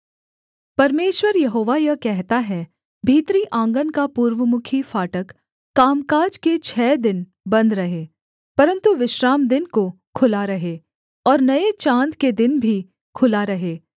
परमेश्वर यहोवा यह कहता है भीतरी आँगन का पूर्वमुखी फाटक कामकाज के छः दिन बन्द रहे परन्तु विश्रामदिन को खुला रहे और नये चाँद के दिन भी खुला रहे